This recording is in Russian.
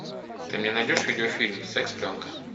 ты мне найдешь видеофильм секс пленка